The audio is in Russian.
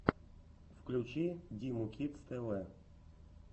включи диму кидс тв